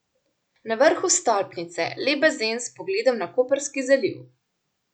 Na vrhu stolpnice lep bazen s pogledom na Koprski zaliv.